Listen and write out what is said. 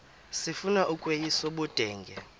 sifuna ukweyis ubudenge